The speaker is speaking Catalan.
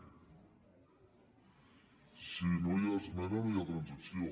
si no hi ha esmena no hi ha transacció